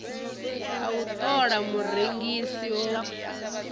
a u ṱola murengisi o